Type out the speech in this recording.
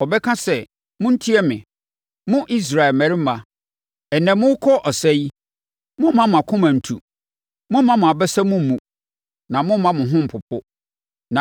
Ɔbɛka sɛ, “Montie me, mo Israel mmarima! Ɛnnɛ, morekɔ ɔsa yi, mommma mo akoma ntu! Mommma mo abasa mu mmu, na momma mo ho mpopo.